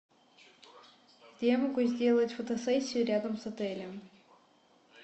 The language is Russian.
где я могу сделать фотосессию рядом с отелем